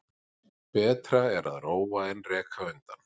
Betra er að róa en reka undan.